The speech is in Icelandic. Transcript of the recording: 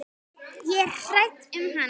Ég er hrædd um hana.